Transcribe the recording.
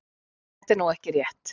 Þetta er nú ekki rétt.